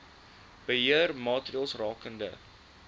beheer maatreëls rakende